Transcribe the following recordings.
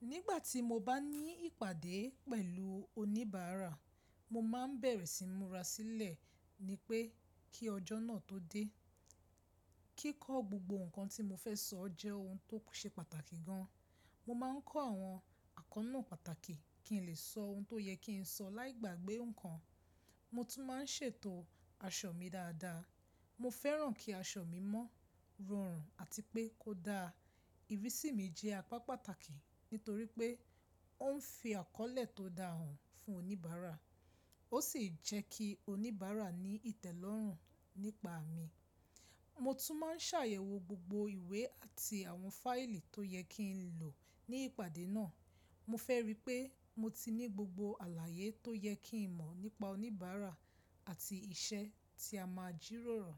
Nígbà tí mo bá ní ìpàdé pẹ̀lú oníbàárà, mo máa ń bẹ̀erẹ̀ sí múra sílẹ̀ ni pé kí ọjọ́ náà tó dé. Kíkọ́ gbogbo nǹkan tí mo fẹ́ sọ jẹ́ ohun tó ṣe pàtàkì gan. Mo máa ń kọ́ àwọn àkọ́nà pàtàkì kí n lè sọ ohun tó yẹ kí n sọ láì gbàgbé nǹkan. Mo tún máa ń ṣètò aṣọ mi dáadáa. Mo fẹ́ràn kí aṣọ mi mọ́, rọrùn àti pé kó dáa. Ìrísí mi jẹ́ apá pàtàkì nítorí pé ó ń fi àkọ́lẹ́ tó dáhùn fún oníbàárà ó sì jẹ́ kí oníbàárà ní ìtẹ́lọ́rùn nípa mi. Mo tún máa ń ṣàyẹ̀wò gbogbo ìwé àti àwọn fáìlì tó yẹ kí n lò ní ìpàdé náà. Mo fẹ́ rí i pé mo ti ní gbogbo àlàyé tó yẹ kí n mọ̀ nípa oníbàárà àti iṣẹ́ tí a máa jíròrò.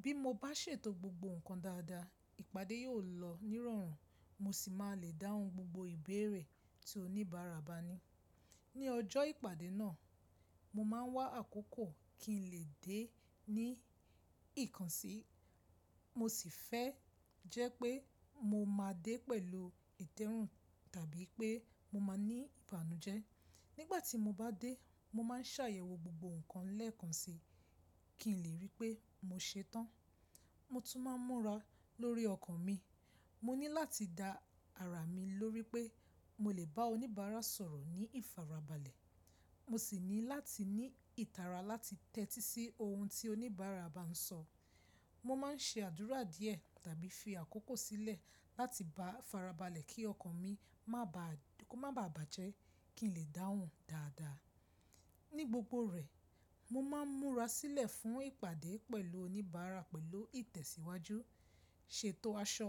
Bí mo bá ṣètò gbogbo nǹkan dáadáa, ìpàdé yóò lọ ní ìrọ̀rùn mo sì máa le dáhùn gbogbo ìbéèrè tí oníbàárà bá ní. Ni ọjọ́ ìpàdé náà, mo máa ń wá àkókò kí n lè dé ní ìkànsí mo sì fẹ́ jẹ́ pé mo máa dé pẹ̀lú ìtẹ́rún tàbí pé mo máa ní ìbàǹujẹ́. Nígbà tí mo bá dé, mo máa ń ṣàyẹ̀wò gbogbo nǹkan lẹ́ẹ̀kan sí kí n lè rí i pé mo ṣetán. Mo tún máa ń múra lórí ọkàn mi. Mo ní láti da ara mi lórí pé mo lè bá oníbàárà sọ̀rọ̀ ní ìfarabalẹ̀. Mo sì ní láti ní ìtara láti tẹ́tí sí ohun tí oníbàárà bá ń sọ. Mo máa ń ṣe àdúrà díẹ̀ tàbí fi àkókò sílẹ̀ láti bá farabalẹ̀ kí ọkàn mi má bà báàjẹ́ kí n lè dáhùn dáadáa. Ní gbogbo rẹ̀, mo máa ń múra sílẹ̀ fún ìpàdé pẹ̀lú oníbàárà pẹ̀lú ìtẹ̀síwájú, ṣètò aṣọ,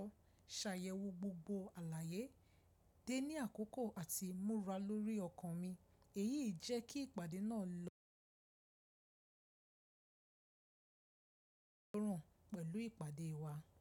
ṣàyẹ̀wò gbogbo àlàyé, dé ní àkókò àti múra lórí ọkàn mi. Èyí jẹ́ kí ìpàdé náà lọ ní ìrọ̀rùn pẹ̀lú ìpàdé wa.